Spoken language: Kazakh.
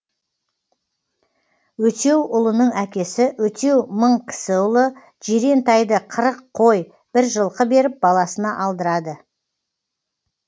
өтеуұлының әкесі өтеу мыңкісіұлы жирен тайды қырық қой бір жылқы беріп баласына алдырады